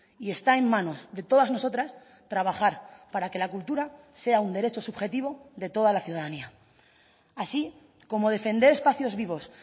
y está en manos de todas nosotras trabajar para que la cultura sea un derecho subjetivo de toda la ciudadanía así como defender espacios vivos